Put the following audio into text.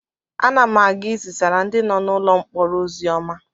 Ana m aga ị zisaara ndị nọ n'ụlọ mkpọrọ ozi ọma.